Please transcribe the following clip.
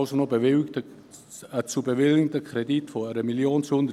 Der zu bewilligende Kredit beträgt somit 1 270 000 Franken.